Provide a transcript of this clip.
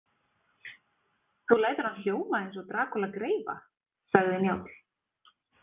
Þú lætur hann hljóma eins og Drakúla greifa, sagði Njáll.